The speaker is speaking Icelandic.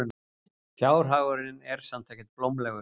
Fjárhagurinn er samt ekkert blómlegur.